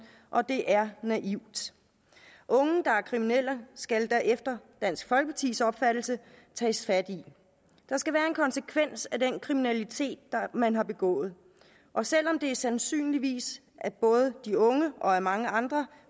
og det er naivt unge der er kriminelle skal der efter dansk folkepartis opfattelse tages fat i der skal være en konsekvens af den kriminalitet man har begået og selv om det sandsynligvis af både de unge og af mange andre